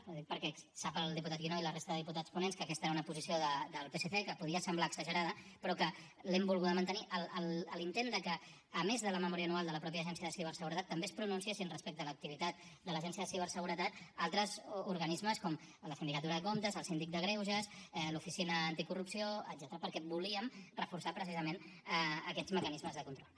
ho dic perquè sap el diputat guinó i la resta de diputats ponents que aquesta era una posició del psc que podia semblar exagerada però que l’hem volguda mantenir l’intent de que a més de la memòria anual de la mateixa agència de ciberseguretat també es pronunciessin respecte a l’activitat de l’agència de ciberseguretat altres organismes com la sindicatura de comptes el síndic de greuges l’oficina anticorrupció etcètera perquè volíem reforçar precisament aquests mecanismes de control